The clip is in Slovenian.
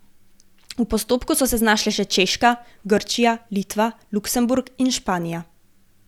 V postopku so se znašle še Češka, Grčija, Litva, Luksemburg in Španija.